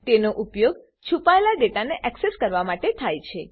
તેનો ઉપયોગ છુપાયેલા ડેટાને એક્સેસ કરવા માટે થાય છે